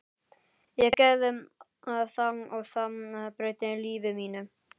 Ég gerði það og það breytti lífi mínu.